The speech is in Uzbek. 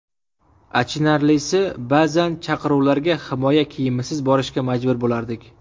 Achinarlisi, ba’zan chaqiruvlarga himoya kiyimisiz borishga majbur bo‘lardik.